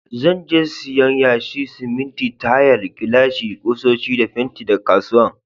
Zan je siyan yashi, siminti, tayal, gilashi, kusoshi da fenti daga kasuwan.